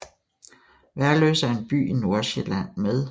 Værløse er en by i Nordsjælland med